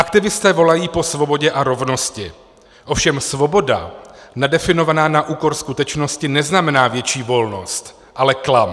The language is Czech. Aktivisté volají po svobodě a rovnosti, ovšem svoboda nadefinovaná na úkor skutečnosti neznamená větší volnost, ale klam.